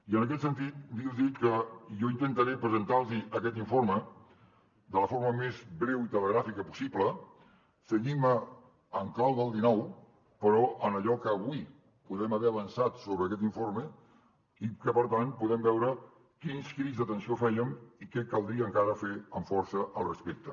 i en aquest sentit li dic que jo intentaré presentar los aquest informe de la forma més breu i telegràfica possible cenyint me en clau del dinou però en allò que avui podem ha avançat sobre aquest informe i que per tant podem veure quins crits d’atenció fèiem i què caldria encara fer amb força al respecte